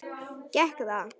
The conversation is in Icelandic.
Gekk það?